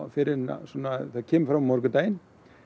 fyrr en það kemur fram á morgundaginn